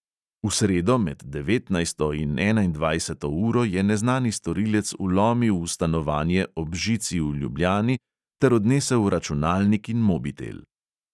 V sredo med devetnajsto in enaindvajseto uro je neznani storilec vlomil v stanovanje ob žici v ljubljani ter odnesel računalnik in mobitel.